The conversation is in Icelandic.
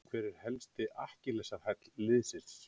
Hver er helsti akkilesarhæll liðsins?